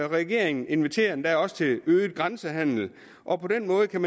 regeringen inviterer endda også til øget grænsehandel og på den måde kan